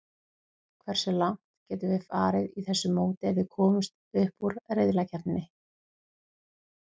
Hversu langt getum við farið í þessu móti ef við komumst upp úr riðlakeppninni?